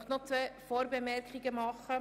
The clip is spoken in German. Ich möchte noch zwei Vorbemerkungen anbringen.